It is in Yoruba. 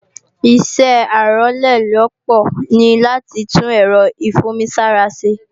Ìṣẹ́ Arólélópòó ní láti tún èrọ ìfún-omi-sára ṣe